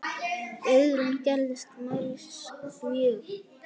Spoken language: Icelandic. Guðrún gerðist mælsk mjög.